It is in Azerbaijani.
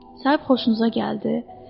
Sahibi xoşunuza gəldi?